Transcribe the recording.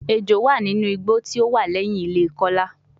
Ejo wa ninu igbo ti o wa lẹhin ile Kola